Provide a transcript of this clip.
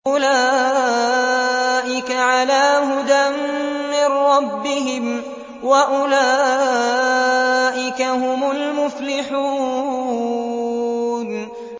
أُولَٰئِكَ عَلَىٰ هُدًى مِّن رَّبِّهِمْ ۖ وَأُولَٰئِكَ هُمُ الْمُفْلِحُونَ